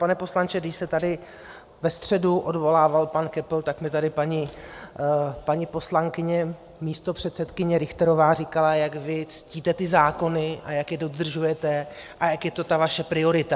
Pane poslanče, když se tady ve středu odvolával pan Köppl, tak mi tady paní poslankyně místopředsedkyně Richterová říkala, jak vy ctíte ty zákony a jak je dodržujete a jak je to ta vaše priorita.